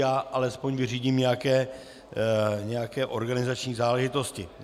Já alespoň vyřídím nějaké organizační záležitosti.